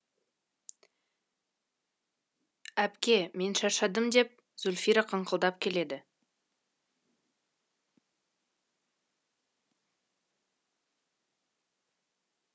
әпке мен шаршадым деп зульфира қыңқылдап келеді